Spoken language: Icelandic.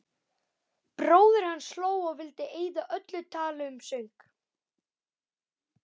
Bróðir hans hló og vildi eyða öllu tali um söng.